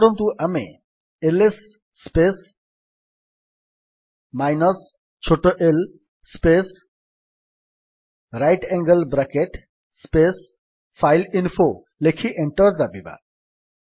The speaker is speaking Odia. ମନେକରନ୍ତୁ ଆମେ ଏଲଏସ୍ ସ୍ପେସ୍ ମାଇନସ୍ ଛୋଟ l space right angle bracket space file info ଲେଖି ଏଣ୍ଟର୍ ଦାବିବା